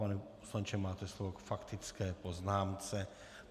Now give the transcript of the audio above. Pan poslanče, máte slovo k faktické poznámce.